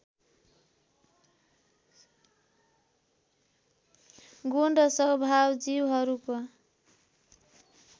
गुण र स्वभाव जीवहरूको